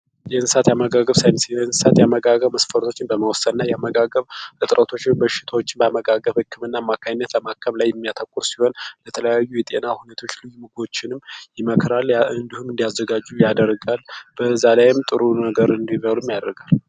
የእንስሳት የአመጋገብ ሳይንስ የእንስሳት የአመጋገብ መስፈርቶችን በመወሰንና የአመጋገብ እጥረቶችን በሽታዎች በአመጋገብ ሕክምና አማካይነት በማከም ላይ የሚያተኩር ሲሆን፤ የተለያዩ የጤና ሁኔታዎችን ምግቦችንም ይመክራል እንዲሁም እንዲያዘጋጁ ያደርጋሉ። በዛ ላይም ጥሩ ነገር እንዲበሉ ያደርጋል።